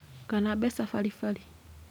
Kana mbeca baribari